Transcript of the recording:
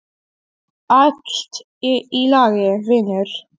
Allt í lagi, vinur.